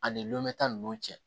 Ani lɔnmɛ tan nunnu cɛ